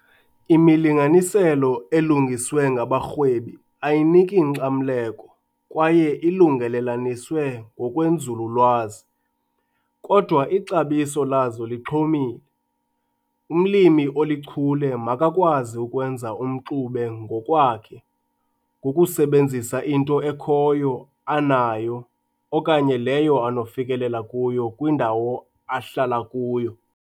Imilinganiselo elungiswe ngabarhwebi ayiniki nkxamleko kwaye ilungelelaniswe ngokwenzululwazi, kodwa ixabiso lazo lixhomile. Umlimi olichule makakwazi ukwenza umxube ngowakhe ngokusebenzisa into ekhoyo anayo okanye leyo anokufikelela kuyo kwindawo ahlala kuyo.